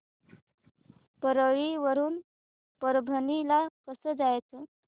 परळी वरून परभणी ला कसं जायचं